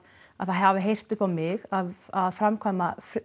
það hafi heyrt upp á mig að framkvæma